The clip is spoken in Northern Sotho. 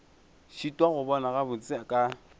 šitwa go bona gabotse ka